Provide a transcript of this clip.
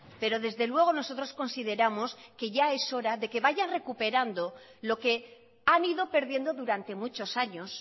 pero desde luego nosotros consideramos que ya es hora de que vaya recuperando lo que han ido perdiendo durante muchos años